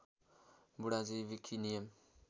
बुढाजी wiki नियम